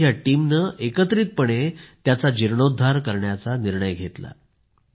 आणि मग या टीमनं एकत्रितपणे त्याचा जीर्णोद्धार करण्याचा निर्णय घेतला